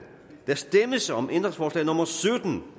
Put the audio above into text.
der stemmes om ændringsforslag nummer sytten